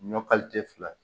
Ɲɔ kalite fila ye